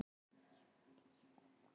Dæmi: sljákka, sljór.